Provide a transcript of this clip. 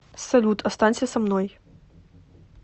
салют останься со мной